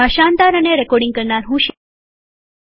ભાષાંતર કરનાર હું છું શિવાની ગડા